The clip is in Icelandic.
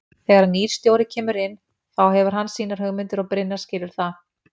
Þegar að nýr stjóri kemur inn þá hefur hann sínar hugmyndir og Brynjar skilur það.